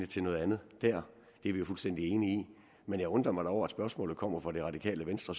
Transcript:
til noget andet dér det er vi jo fuldstændig enige i men jeg undrer mig da over at spørgsmålet kommer fra det radikale venstre